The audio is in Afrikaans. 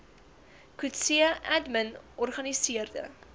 coetzee admin organiseerde